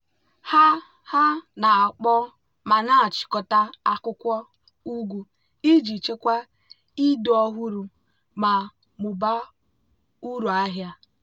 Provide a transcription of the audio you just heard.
ha ha na-akpọọ ma na-achịkọta akwụkwọ ugu iji chekwaa ịdị ọhụrụ ma mụbaa uru ahịa.